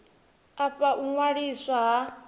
a fha u ṅwaliswa ha